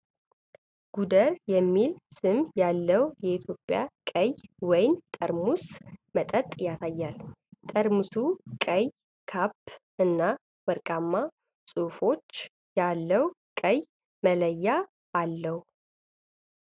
"ጎደር" የሚል ስም ያለውን የኢትዮጵያ ቀይ ወይን ጠርሙስ መጠጥ ያሳያል። ጠርሙሱ ቀይ ካፕ እና ወርቃማ ጽሑፎች ያለው ቀይ መለያ አለው።